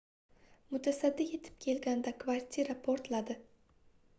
mutasaddi yetib kelganida kvartira portladi